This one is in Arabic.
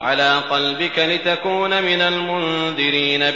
عَلَىٰ قَلْبِكَ لِتَكُونَ مِنَ الْمُنذِرِينَ